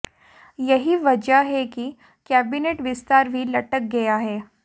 यही वजह है कि कैबिनेट विस्तार भी लटक गया है